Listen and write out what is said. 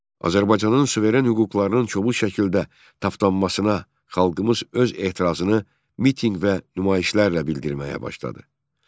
Azərbaycanın suveren hüquqlarının kobud şəkildə tapdanmasına xalqımız öz etirazını mitinq və nümayişlərlə bildirməyə başladı.